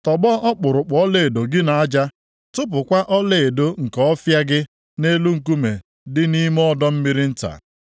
tọgbọ ọkpụrụkpụ ọlaedo gị nʼaja, tụpụkwa ọlaedo nke Ọfịa gị nʼelu nkume dị nʼime ọdọ mmiri nta.